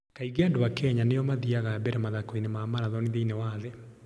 Kaingĩ andũ a Kenya nĩo mathiaga mbere mathako-inĩ ma maratoni thĩinĩ wa thĩ.